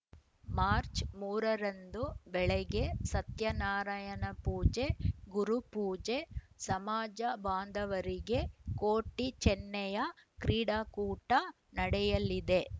March ಮೂರ ರಂದು ಬೆಳಗ್ಗೆ ಸತ್ಯನಾರಾಯಣ ಪೂಜೆ ಗುರುಪೂಜೆ ಸಮಾಜ ಬಾಂಧವರಿಗೆ ಕೋಟಿ ಚೆನ್ನಯ್ಯ ಕ್ರೀಡಾಕೂಟ ನಡೆಯಲಿದೆ